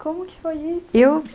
Como que foi isso? Eu